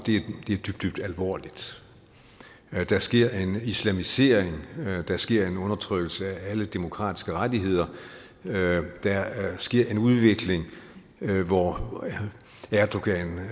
dybt dybt alvorligt der sker en islamisering der sker en undertrykkelse af alle demokratiske rettigheder og der sker en udvikling hvor erdogan